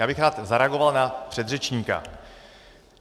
Já bych rád zareagoval na předřečníka.